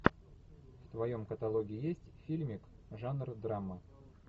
в твоем каталоге есть фильмик жанр драма